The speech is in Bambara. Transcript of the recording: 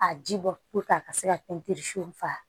A ji bɔ a ka se ka fa